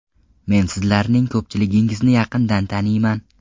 Men sizlarning ko‘pchiligingizni yaqindan taniyman.